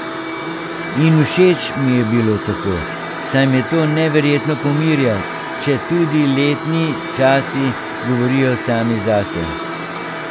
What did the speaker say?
In všeč mi je bilo tako, saj me to neverjetno pomirja, če tudi letni časi govorijo sami zase.